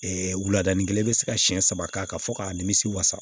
wuladani kelen bɛ se ka siyɛn saba k'a kan fɔ k'a nimisi wasa